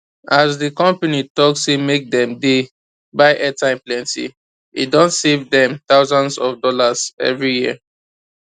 as the company talk say make dem dey buy airtime plenty e don save dem thousands of dollars every year